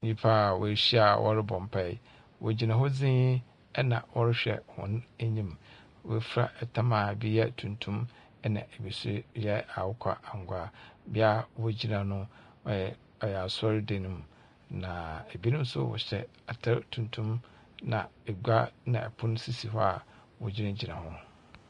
Nyimpa a woehyia a wɔrobɔ mpaa, wogyina hɔ dzinn na wɔrohwɛ hɔn enyim, woefura tam a bi yɛ tuntum na bi so yɛ akokɔangoa, bea a wogyina no, ɔyɛ asɔrdan mu, na binom atar tuntum na pon na ngua sisi hɔ a wogyinagyina ho.